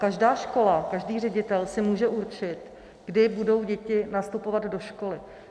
Každá škola, každý ředitel si může určit, kdy budou děti nastupovat do školy.